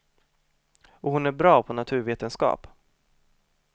Och hon är bra på naturvetenskap.